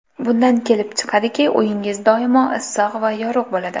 Bundan kelib chiqadiki, uyingiz doimo issiq va yorug‘ bo‘ladi.